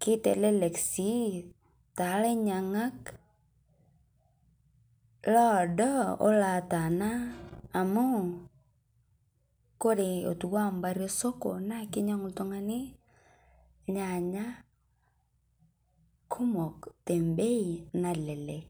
Keitelelek sii ta lainyang'ak loodoo olo latana amu kore otuwa mpaari e soko naa keinyang'u ltung'ani ilnyanya kumook te mbei nalelek.